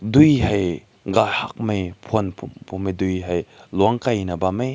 deui hae gaihak mei phün phu phunai deui hae long kai mai bam hae.